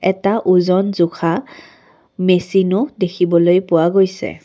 এটা ওজন জোখা মেচিনো দেখিবলৈ পোৱা গৈছে।